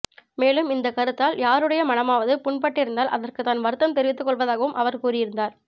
மேலும் இந்த கருத்தால் யாருடைய மனமாவது புண்பட்டிருந்தால் அதற்கு தான் வருத்தம் தெரிவித்து கொள்வதாகவும் அவர் கூறியிருந்தார்